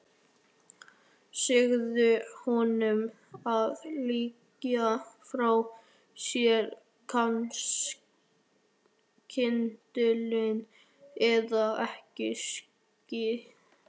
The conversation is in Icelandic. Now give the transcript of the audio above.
Segðu honum að leggja frá sér kyndilinn eða ég skýt.